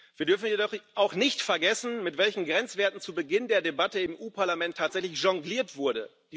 Wir dürfen jedoch auch nicht vergessen, mit welchen Grenzwerten zu Beginn der Debatte im Europäischen Parlament tatsächlich jongliert wurde.